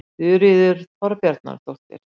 Þuríður Þorbjarnardóttir.